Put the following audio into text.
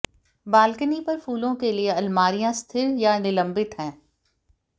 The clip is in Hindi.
बालकनी पर फूलों के लिए अलमारियां स्थिर या निलंबित हैं